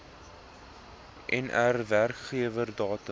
nr werkgewer datum